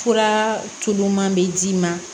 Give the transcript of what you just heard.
Fura tuluma bɛ d'i ma